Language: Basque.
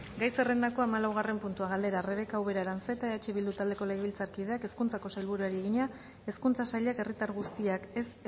gai zerrendako hamalaugarren puntua galdera rebeka ubera aranzeta eh bildu taldeko legebiltzarkideak hezkuntzako sailburuari egina hezkuntza sailak herritar guztiak ez